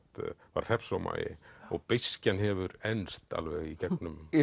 var hreppsómagi og hefur enst alveg í gegnum